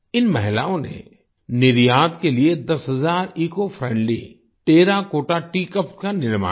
इन महिलाओं ने निर्यात के लिए दस हजार इकोफ्रेंडली टेराकोटा टीईए कप्स का निर्माण किया